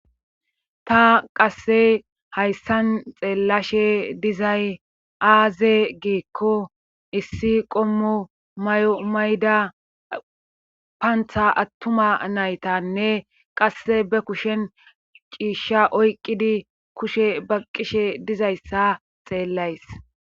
Ta qasse hayssan xeellashe dizay aaze giikko issi qommo may7o mayda paantha attuma naytanne qasse be kushen ciishsha oyqqidi kushe ba qishe dizayssa xeellays.